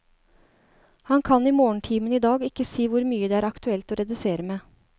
Han kan i morgentimene i dag ikke si hvor mye det er aktuelt å redusere med.